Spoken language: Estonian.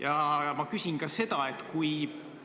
Ja ma küsin ka seda, et kui